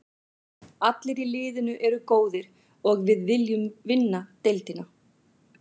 Allir í liðinu eru góðir og við viljum vinna deildina.